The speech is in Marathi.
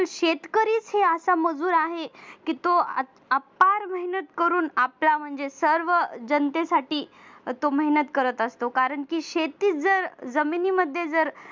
शेतकरीच हे असा मजूर आहे की तो अपार मेहनत करून आपल्या म्हणजे सर्व जनतेसाठी तो मेहनत करत असतो शेती जर जमिनी मध्ये जर